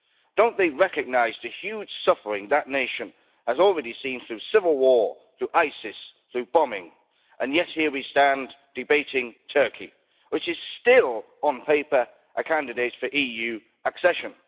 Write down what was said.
Don't they recognise the huge suffering that nation has already seen through civil war, through ISIS, through bombing, and yet here we stand debating Turkey, which is still, on paper, a candidate for EU accession.